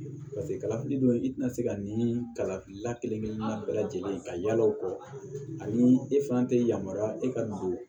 kalafili dun i ti na se ka nin kalafili la kelen kelen na bɛɛ lajɛlen ka yala o kɔ ani e fana te yamaruya e ka don